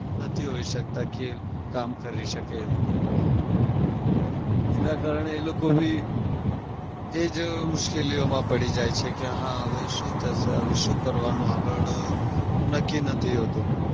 નથી હોઉં શકતા કે કામ કરી શકે એવું કઈ. એના કારણે એ લોકો બી એજ મુશ્કેલીઓમાં પડી જાય છે કે હા હવે શું થશે? હવે શું કરવાનું આગળ? નક્કી નથી હોતું.